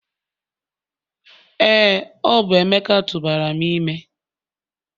Ee, ọ bụ Emeka tụbara m ime